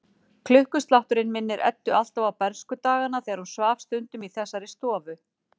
Klukkuslátturinn minnir Eddu alltaf á bernskudagana þegar hún svaf stundum í þessari stofu.